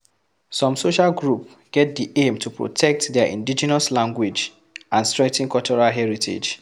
Some social group get di aim to protect their indigenous language and strengthen cultural heritage